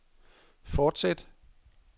fortsæt